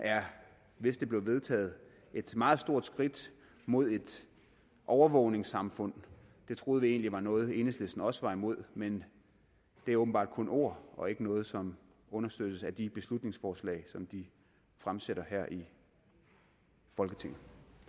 hvis det blev vedtaget er et meget stort skridt mod et overvågningssamfund det troede vi egentlig var noget som enhedslisten også var imod men det er åbenbart kun ord og ikke noget som understøttes af de beslutningsforslag som de fremsætter her i folketinget